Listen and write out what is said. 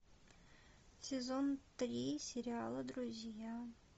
сезон три сериала друзья